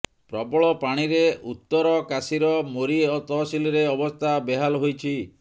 ପ୍ରବଳ ପାଣିରେ ଉତ୍ତରକାଶୀର ମୋରି ତହସିଲରେ ଅବସ୍ଥା ବେହାଲ ହୋଇଛି